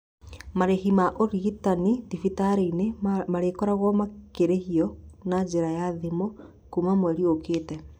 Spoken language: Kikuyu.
Marĩhi ma ũrigitani thibitarĩinĩ marĩkoragwo makĩrĩhwo na njĩra ya thimu kuma mweri okĩte